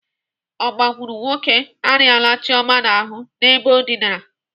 Agbakurunwoke arịala Chioma n'ahụ n'ebe o dịnara.